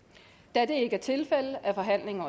da det ikke er tilfældet er forhandlingen